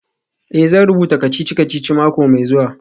Eh, zan rubuta kacici-kacici mako mai zuwa.